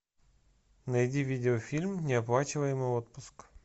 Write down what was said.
найди видеофильм неоплачиваемый отпуск